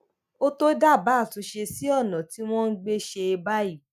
ó tó dábàá àtúnṣe sí ọnà tí wọn ń gbà ṣe é báyìí